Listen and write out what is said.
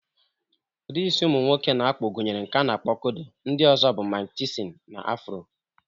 Udị isi ụmụ nwoke na-akpụ gụnyere nke a na-akpo "kodo", ndị ọzọ bụ "Mike Tyson", na "Afro".